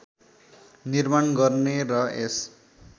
निर्माण गर्ने र यस